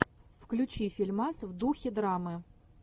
включи фильмас в духе драмы